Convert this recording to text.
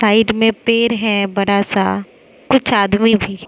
Side में पेड़ है बड़ा सा कुछ आदमी भी।